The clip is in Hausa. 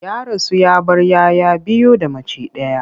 Ya rasu ya bar 'ya 'ya biyu da mace ɗaya.